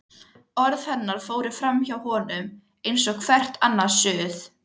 Orð hennar fóru framhjá honum eins og hvert annað suð.